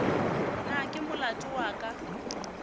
na ke molato wa ka